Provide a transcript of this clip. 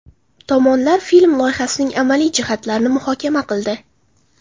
Tomonlar film loyihasining amaliy jihatlarini muhokama qildi.